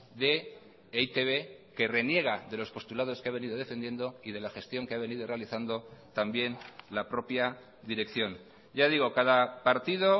de e i te be que reniega de los postulados que ha venido defendiendo y de la gestión que ha venido realizando también la propia dirección ya digo cada partido